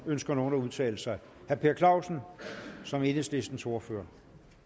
ønsker nogen at udtale sig herre per clausen som enhedslistens ordfører